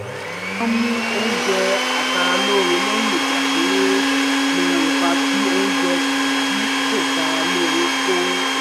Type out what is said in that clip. wọ́n mú oúnjẹ aṣaralóore lẹ́yìn ìgbà tí wọ́n mọ ipa tí oúnjẹ tí kò sára lóore kóore